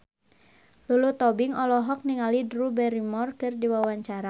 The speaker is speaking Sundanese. Lulu Tobing olohok ningali Drew Barrymore keur diwawancara